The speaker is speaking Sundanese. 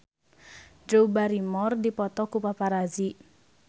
Drew Barrymore dipoto ku paparazi